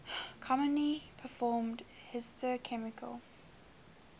commonly performed histochemical